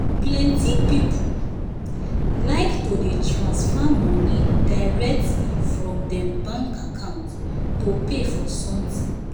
plenty people um like to dey tranfer money directly from them bank account to pay for something